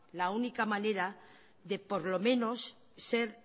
la única manera de por lo menos ser